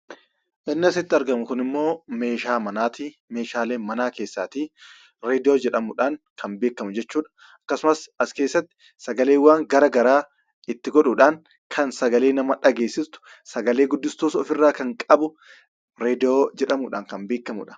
Inni asitti argamu kun immoo meeshaa manaati. Meeshaalee manaa keessaatii 'raadiyoo' jedhamuun kan beekamu jechuudha. Akkasumas, as keessatti sagaleewwan garaa garaa itti godhuudhaan kan sagalee nama dhageessistu, sagalee guddistuus ofirraa kan qabu, 'raadiyoo' jedhamuudhaan kan beekamuudha.